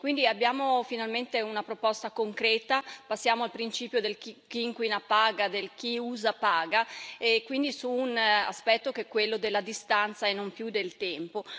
Quindi abbiamo finalmente una proposta concreta, passiamo al principio del chi inquina paga e del chi usa paga e quindi a un aspetto che è quello della distanza e non più del tempo.